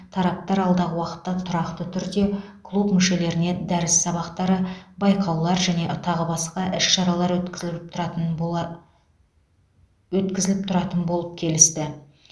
тараптар алдағы уақытта тұрақты түрде клуб мүшелеріне дәріс сабақтары байқаулар және тағы басқа іс шаралар өткізіліп тұратын бола өткізіліп тұратын болып келісті